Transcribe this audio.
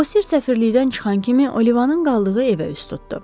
Bosir səfirlikdən çıxan kimi Olivanın qaldığı evə üz tutdu.